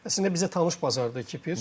Əslində bizə tanış bazardır Kipr.